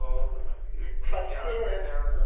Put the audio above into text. ഓ ഇപ്പം അത് യാത്ര തന്നെയാണല്ലോ